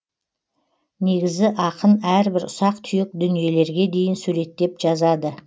негізі ақын әрбір ұсақ түйек дүниелерге дейін суреттеп жазады